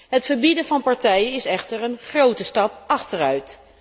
Het verbieden van partijen is echter een grote stap achteruit.